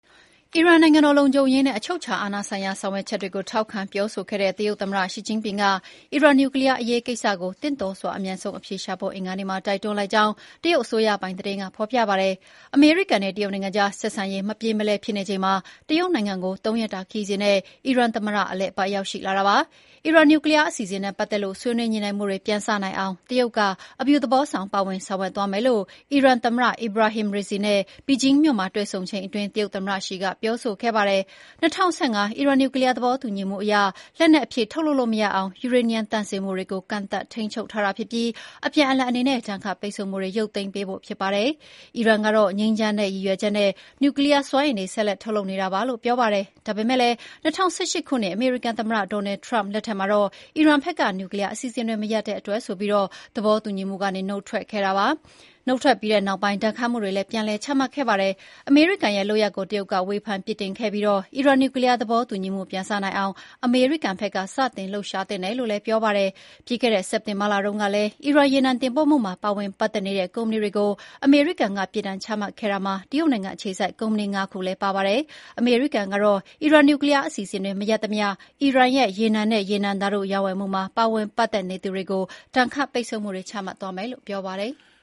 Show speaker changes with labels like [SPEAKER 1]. [SPEAKER 1] အီရန်နိုင်ငံတော်လုံခြုံရေးနဲ့ အချုပ်အခြာအာဏာဆိုင်ရာဆောင်ရွက်ချက်တွေကို ထောက်ခံပြောဆိုခဲ့တဲ့ တရုတ်သမ္မတရှီကျင့်ဖျင်က အီရန်နျူကလီယားအရေးကိစ္စကို သင့်လျော်စွာ အမြန်ဆုံးအဖြေရှာဖို့ အင်္ဂါနေ့မှာ တိုက်တွန်းလိုက်ကြောင်း တရုတ်အစိုးရပိုင်သတင်းကဖော်ပြပါတယ်။ အမေရိကန်နဲ့ တရုတ်နိုင်ငံကြား ဆက်ဆံရေးမပြေမလည်ဖြစ်နေချိန်မှာ တရုတ်နိုင်ငံကို ၃ ရက်တာခရီးစဉ်နဲ့ အီရန်သမ္မတ တရုတ်နိုင်ငံကို အလည်အပတ်ရောက်ရှိလာတာပါ။ အီရန်နျူကလီယားအစီအစဉ်နဲ့ပတ်သက်လို့ ဆွေးနွေးညှိနှိုင်းမှုတွေပြန်စတင်နိုင်အောင် တရုတ်က အပြုသဘောဆောင် ပါဝင်ဆောင်ရွက်သွားမယ်လို့ အီရန်သမ္မတ Ebrahim Raisi နဲ့ ဘေဂျင်းမြို့မှာ တွေ့ဆုံချိန်အတွင်း တရုတ်သမ္မတ ရှီက ပြောဆိုခဲ့ပါတယ်။ ၂၀၁၅ အီရန်နျူကလီယားသဘောတူညီချက်အရ လက်နက် အဖြစ်ထုတ်လုပ်လို့မရအောင် ယူရေနီယံသန့်စင်မှုကို ကန့်သတ်ထိန်းချုပ်ထားပြီး အပြန်အလှန်အနေနဲ့ ဒဏ်ခတ်ပိတ်ဆို့မှုတွေရုပ်သိမ်းပေးဖို့ ဖြစ်ပါတယ်။ အီရန်ကတော့ ငြိမ်းချမ်းတဲ့ရည်ရွယ်ချက်နဲ့ နျူကလီယားစွမ်းအင်တွေ ဆက်ထုတ်နေတာပါလို့ပြောပါတယ်။ ဒါပေမယ့်လည်း ၂၀၁၈ ခုနှစ် အမေရိကန်သမ္မတ Donald Trump လက်ထက်မှာ အီရန်ဘက်က နျူကလီယားအစီအစဉ်တွေ မရပ်တဲ့အတွက်ဆိုပြီး သဘောတူညီမှုကနေ နုတ်ထွက်ပြီး ဒဏ်ခတ်မှုတွေပြန်လည်ချမှတ်ခဲ့တာပါ။ အမေရိကန်ရဲ့လုပ်ရပ်ကို တရုတ်က ဝေဖန်ပြစ်တင်ခဲ့ပြီး အီရန်နျူကလီယားသဘောတူညီမှုပြန်စနိုင်အောင် အမေရိကန်ကအရင် စတင် လှုပ်ရှားသင့်တယ်လို့လည်းပြောပါတယ်။ ပြီးခဲ့တဲ့စက်တင်ဘာလတုန်းကလည်း အီရန်ရေနံတင်ပို့မှုမှာပါဝင်ပတ်သက်နေတဲ့ ကုမ္ပဏီတွေကို အမေရိကန်က ပြစ်ဒဏ်ချမှတ်ခဲ့တာမှာ တရုတ်နိုင်ငံအခြေစိုက်ကုမ္ပဏီ ၅ ခုလည်းပါဝင်ပါတယ်။ အမေရိကန်ကတော့ အီရန်နျူကလီယားအစီအစဉ်တွေ မရပ်သမျှ အီရန်ရဲ့ ရေနံနဲ့ ရေနံဓာတုရောင်းဝယ်မှုမှာ ပါဝင်ပတ်သက်နေသူတွေကို ဒဏ်ခတ်ပိတ်ဆို့မှုတွေ ချမှတ်သွားမယ်လို့ ပြောပါတယ်။